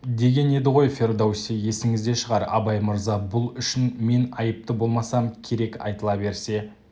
деген еді ғой фердоуси есіңізде шығар абай мырза бұл үшін мен айыпты болмасам керек айтыла берсе